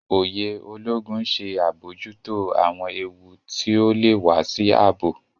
Òye Ológun ń ṣe abojuto awọn éwu ti ọ lè wà sí ààbò